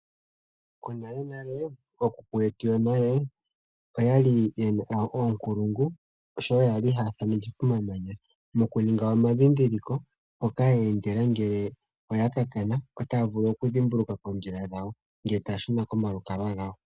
Konalenale, ookuku yetu yonale oyali yena oonkulungu sho yali haa thaneke komamanya moku ninga omadhidhiliko mpoka yeendela ngele oyaka kana otaya vulu okudhimbulukwa ngele taashuna komalukalwa gawo.